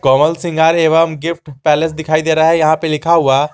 कोमल श्रृंगार एवं गिफ्ट पहले से दिखाई दे रहा है यहां पे लिखा हुआ।